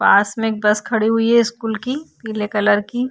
पास में बस खड़ी हुई है स्कूल की पीले कलर की।